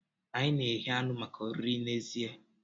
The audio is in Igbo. Anyi na-eghe anụ maka oriri n'èzí.